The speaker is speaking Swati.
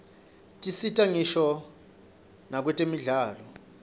tisita ngisho nakwtemidlalo